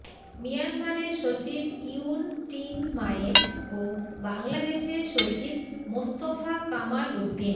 মিয়ানমারের সচিব Yun Tin Myint ও বাংলাদেশে সচিব মোস্তফা কামাল উদ্দিন